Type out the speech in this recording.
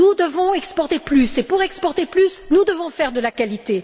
Nous devons exporter plus et, pour exporter plus, nous devons faire de la qualité.